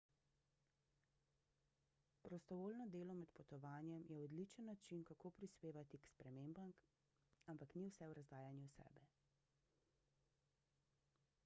prostovoljno delo med potovanjem je odličen način kako prispevati k spremembam ampak ni vse v razdajanju sebe